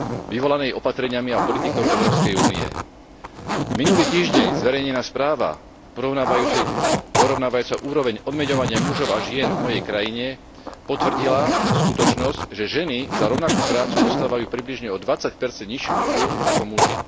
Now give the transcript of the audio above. vyvolanej opatreniami a politikou EÚ. Minulý týždeň zverejnená správa porovnávajúca úroveň odmeňovania mužov a žien v mojej krajine potvrdila skutočnosť, že ženy za rovnakú prácu dostávajú približne o20 nižšiu mzdu ako muži.